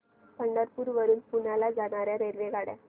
पंढरपूर वरून पुण्याला जाणार्या रेल्वेगाड्या